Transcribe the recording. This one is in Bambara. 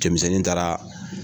Cɛmisɛnnin taara